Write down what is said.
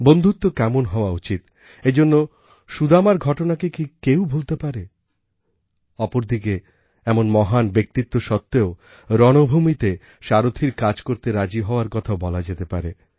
বন্ধুত্ব কেমন হওয়া উচিত এজন্য সুদামার ঘটনাকে কি কেউ ভুলতে পারে অপরদিকে এমন মহান ব্যক্তিত্ব সত্বেও রণভূমিতে সারথীর কাজ করতে রাজি হওয়ার কথাও বলা যেতে পারে